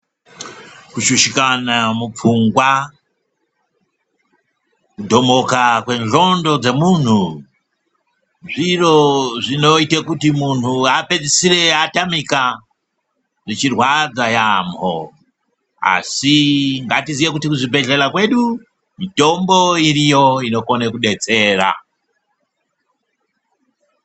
Kushushikana mupfungwa, kudhomoka kwendxondo dzemunhu zviro zvinoite kuti munhu apedzisire atamika zvichirwadza yambo asi ngatiziye kuti kuzvibhedhlela kwedu mitombo iriyo inokone kudetsera.